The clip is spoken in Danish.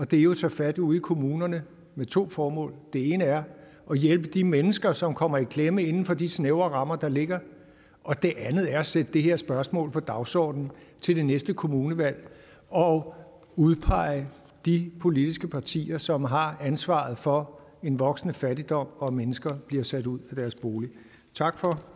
det er jo at tage fat ude i kommunerne med to formål det ene er at hjælpe de mennesker som kommer i klemme inden for de snævre rammer der ligger og det andet er at sætte det her spørgsmål på dagsordenen til det næste kommunevalg og udpege de politiske partier som har ansvaret for en voksende fattigdom og at mennesker bliver sat ud af deres bolig tak for